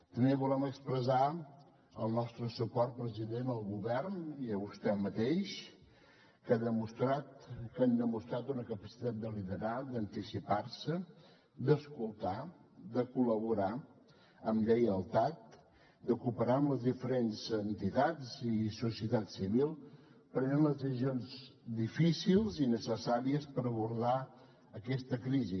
també volem expressar el nostre suport president al govern i a vostè mateix que han demostrat una capacitat de liderar d’anticipar se d’escoltar de col·laborar amb lleialtat de cooperar amb les diferents entitats i societat civil prenent les decisions difícils i necessàries per abordar aquesta crisi